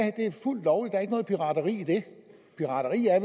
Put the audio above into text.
fuldt lovligt der er ikke noget pirateri i det pirateri er